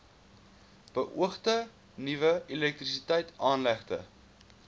beoogde nuwe elektrisiteitsaanlegte